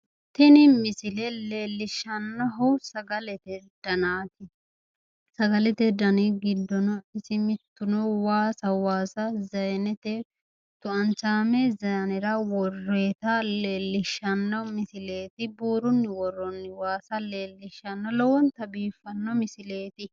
Tini misile leellishannohu sagalete danaati sagalete dani giddono isi mittuno waasaho waasa zaayiinete tu"anchaame zayiinera worroonnita leellishanno misileeti buurunni worroonni waasa leellishshanno misileeti lowonta biiffanno misileeti.